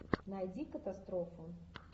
найди катастрофу